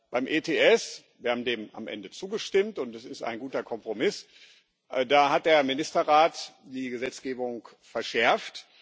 Beim EHS haben wir dem am Ende zugestimmt, und das ist ein guter Kompromiss hat der Ministerrat die Gesetzgebung verschärft.